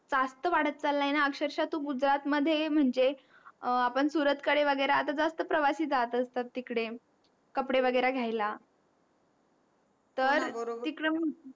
जास्त वाढत चाल्लंय ना अक्षरशः तू गुजरात मध्ये म्हणजे आपण सुरत कडे वैगैरा आता जास्त प्रवासी जात असता तिकडे कपडे वैगेरा घ्यायला तर